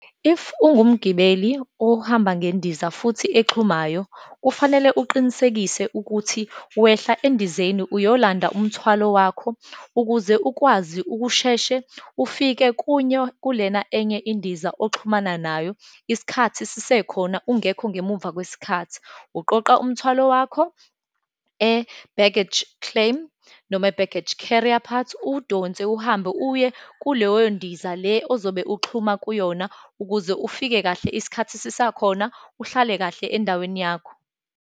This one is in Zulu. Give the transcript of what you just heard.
If ungumgibeli ohamba ngendiza futhi exhumayo, kufanele uqinisekise ukuthi wehla endizeni, uyolanda umthwalo wakho, ukuze ukwazi ukusheshe ufike kunyo, kulena enye indiza oxhumana nayo isikhathi sisekhona, ungekho ngemuva kwesikhathi. Uqoqa umthwalo wakho e-baggage claim, noma e-baggage carrier part, uwudonse uhambe, uye kuleyo ndiza le ozobe ukuxhuma kuyona, ukuze ufike kahle isikhathi sisakhona, uhlale kahle endaweni yakho.